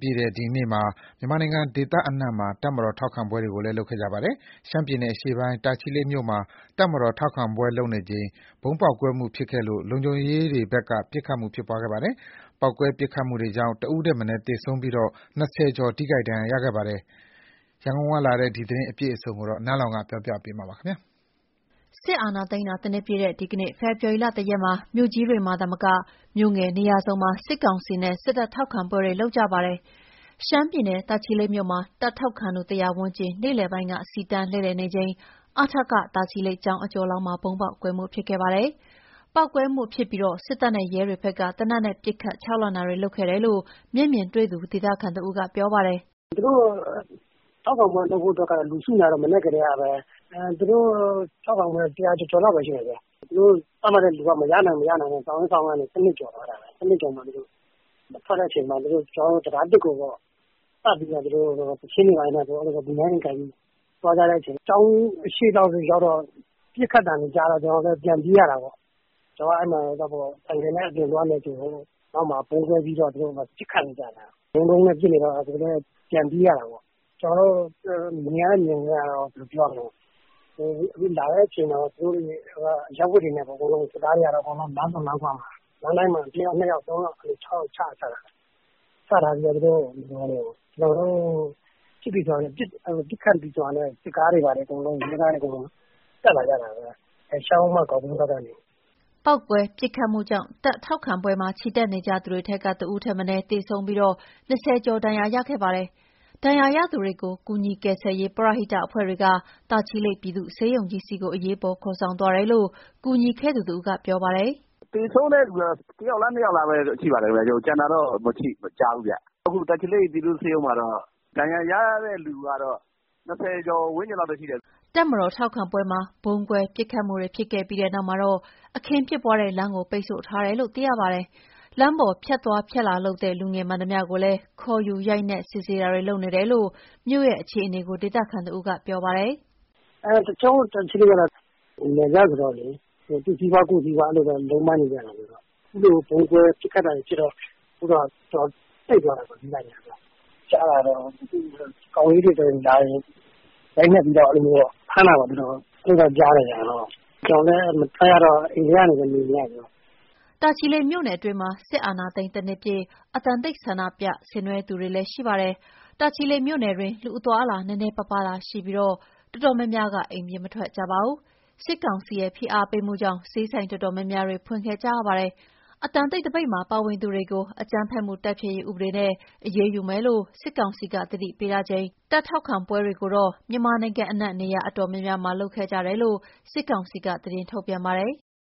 ပြည့်တဲ့ ဒီနေ့မှာ မြန်မာနိုင်ငံ ဒေသအနှံ့ တပ်မတော်ထောက်ခံပွဲတွေ လုပ်ခဲ့ကြပါတယ်။ ရှမ်းပြည်နယ်အရှေ့ပိုင်း၊ တာချီလိတ် မြို့မှာ တပ်မတော်ထောက်ခံပွဲပြုလုပ်နေချိန် ဗုံးပေါက်ကွဲမှုဖြစ်ခဲ့လို့ လုံခြုံရေးတွေဘက် က ပစ်ခတ်ခဲ့ပါတယ်။ ပေါက်ကွဲပစ်ခတ်မှုတွေကြောင့် ၁ ဦးထက်မနည်း သေဆုံးပြီး ၂၀ ကျော် ထိခိုက်ဒဏ်ရာရခဲ့ပါတယ်။ အပြည့်အစုံ ရန်ကုန်ကလာတဲ့သတင်းကို နန်းလောင်ဝ်က တင်ပြပေးထားပါတယ်။ စစ်အာဏာသိမ်းတာ ၁ နှစ်ပြည့်တဲ့ ဒီကနေ့ ဖေဖော်ဝါရီ ၁ ရက်မှာ မြို့ကြီးတွေမှာသာမက မြို့ငယ်နေရာစုံမှာ စစ်ကောင်စီနဲ့ စစ်တပ်ထောက်ခံပွဲတွေ လုပ်ကြပါတယ်။ ရှမ်းပြည်နယ် တာချီလိတ်မြို့မှာ တပ်ထောက်ခံသူ ၁၀၀ ဝန်းကျင် နေ့လယ်ပိုင်းက စီတန်းလှည့်လည်နေချိန် အထကကျောင်းအကျော်လောက်မှာ ဗုံးပေါက်ကွဲခဲ့ပါတယ်။ ပေါက်ကွဲမှုဖြစ်ပြီး စစ်တပ်နဲ့ ရဲတွေဘက်က သေနတ်နဲ့ ပစ်ခတ် ခြောက်လှန့်တာတွေ လုပ်ခဲ့တယ်လို့ မျက်မြင်တွေ့သူ ဒေသခံတဦးကပြောပါတယ်။ "သူတို့ထောက်ခံပွဲလုပ်ဖို့ လူစုနေတာကတော့ မနက်ကတည်းကပဲ။ သူတို့ထောက်ခံပွဲက လူ ၁၀၀ ကျော်ကျော်လောက်ပဲရှိတယ်ဗျ။ သူတို့သတ်မှတ်ထားတဲ့လူက မရနိုင်တော့ စောင့်ရင်းစောင့်ရင်းကနေ ၁၂ ကျော်သွားတာပဲ။ ၁၂ ကျော်မှာ သူတို့ထွက်တဲ့အချိန်မှာ တံတား ၁ ကို ပတ်ပြီးတော့မှ သီချင်းတွေဆို၊ ဗီနိုင်းတွေကိုင်ပြီးသွားကြတဲ့အချိန်မှာ ကျောင်းအရှေ့လောက်ရောက်တော့ ပစ်ခတ်သံတွေကြားတော့ ကျနော်တို့လည်း ပြန်ပြေးရတာပေါ့။ ကျနော်က အဲဒီမှာ ဆိုင်ကယ်နဲ့ အပြင်သွားနေချိန်ကို နောက်မှာ ဗုံးကွဲပြီးတော့ သူတို့ပစ်ခတ်နေကြတာ။ တဒုန်းဒုန်းနဲ့ပစ်နေတော့ ကျနော်တို့လည်း ပြန်ပြေးရတာပေါ့။ ကျနော်တို့မြင်ရတဲ့မြင်ကွင်းက စစ်သားတွေကတော့ အရပ်ဝတ်တွေနဲ့ လမ်းဆုံလမ်းခွမှာ လမ်းတိုင်းမှာ ၁ ယောက်၊ ၂ ယောက်၊ ၃ ယောက်၊ ၆ ယောက် အဲလိုချထားတာ။ ချထားပြီးတော့ ပစ်ခတ်ပြီဆိုတာနဲ့ စစ်ကားတွေနဲ့ ရဲကားတွေအကုန်လုံး အဲဒီရှမ်းရိုးမ ဂေါက် ကွင်းဘက်ကနေ တက်လာကြတာပဲ။" ပေါက်ကွဲ ပစ်ခတ်မှုကြောင့် တပ်ထောက်ခံပွဲမှာ ချီတက်နေကြသူတွေထဲက ၁ ဦးထက်မနည်းသေဆုံးပြီး ၂၀ ကျော် ဒဏ်ရာရခဲ့ပါတယ်။ ဒဏ်ရာရသူတွေကို ကူညီကယ်ဆယ်ရေး ပရဟိတအဖွဲ့တွေက တာချီလိတ်ပြည်သူ့ ဆေးရုံကြီးဆီ အရေးပေါ်ခေါ်ဆောင်သွားတယ်လို့ ကူညီခဲ့သူတဦးကပြောပါတယ်။ "သေဆုံးတဲ့သူကတော့ ၁ ယောက်လား၊ ၂ယောက်လားပဲ ရှိပါတယ်ဗျ။ ကျန်တာတော့ မကြားဘူးဗျ။ အခု တာချီလိတ်ပြည်သူ့ဆေးရုံမှာတော့ ဒဏ်ရာရတဲ့လူကတော့ ၂၀ ကျော်ဝန်းကျင်လောက်ပဲ ရှိတယ်။" တပ်မတော်ထောက်ခံပွဲမှာ ဗုံးကွဲ၊ ပစ်ခတ်မှုတွေဖြစ်ခဲ့ပြီးနောက်မှာတော့ အခင်းဖြစ်ပွားတဲ့လမ်းကို ပိတ်ဆို့ထားတယ်လို့ သိရပါတယ်။ လမ်းပေါ်ဖြတ်သွားဖြတ်လာလုပ်တဲ့ လူငယ်မှန်သမျှကိုလည်း ခေါ်ယူရိုက်နှက်စစ်ဆေးတာတွေ လုပ်နေတယ်လို့ မြို့ရဲ့အခြေအနေကို ဒေသခံတဦးကပြောပါတယ်။ "ကျနော်တို့တာချီလိတ်ကတော့ နယ်စပ်ဆိုတော့လေ သူ့စီးပွား ကိုယ့်စီးပွားလုံးပန်းနေကြတာဆိုတော့ အခုလို ဗုံးကွဲပစ်ခတ်တာတွေဖြစ်တော့ ဈေးဆိုင်တွေကအစ ပိတ်သွားတာပေါ့။ ကြားတာကတော့ ကောင်လေးတွေဆို လာရင် ရိုက်နှက်ပြီးဖမ်းတာတော့ ကြားတယ်ဗျ။ ကျနော်တို့လည်းမထွက်ရတော့ အိမ်ထဲကနေပဲ နေနေရတယ်ဗျ။" တာချီလိတ်မြို့နယ်အတွင်းမှာ စစ်အာဏာသိမ်း ၁ နှစ်ပြည့် အသံတိတ်သပိတ်ဆင်နွဲကြသူတွေလည်း ရှိပါတယ်။ တာချီလိတ်မြို့နယ်တွင်း လူအသွားအလာ နည်းနည်းပါးပါးသာရှိပြီး တော်တော်များများက အိမ်ပြင်မထွက်ကြပါဘူး။ စစ်ကောင်စီရဲ့ဖိအားပေးမှုကြောင့် ဈေးဆိုင်တော်တော်များများကတော့ ဖွင့်ခဲ့ကြရပါတယ်။ အသံတိတ်သပိတ်မှာ ပါဝင်သူတွေကို အကြမ်းဖက်မှုတိုက်ဖျက်ရေးဥပဒေနဲ့ အရေးယူမယ်လို့ စစ်ကောင်စီက သတိပေးထားချိန် စီတန်းချီတက်အင်အားပြတဲ့ တပ်ထောက်ခံပွဲတွေကတော့ မြန်မာနိုင်ငံအနှံ့ နေရာအတော်များများမှာ ပြုလုပ်ခဲ့ကြတယ်လို့ စစ်ကောင်စီက သတင်းထုတ်ပြန်ပါတယ်။